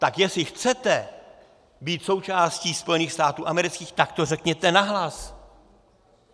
Tak jestli chcete být součástí Spojených států amerických, tak to řekněte nahlas!